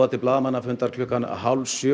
til blaðamannafundar klukkan hálf sjö